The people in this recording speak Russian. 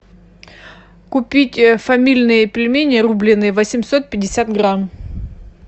купить фамильные пельмени рубленные восемьсот пятьдесят грамм